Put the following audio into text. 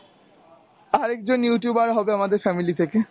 আরেকজন Youtuber হবে আমাদের family থেকে।